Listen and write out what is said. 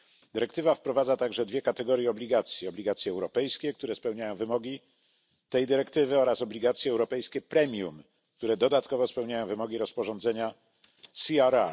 Dyrektywa wprowadza także dwie kategorie obligacji obligacje europejskie, które spełniają wymogi tej dyrektywy, oraz obligacje europejskie premium, które dodatkowo spełniają wymogi rozporządzenia CRR.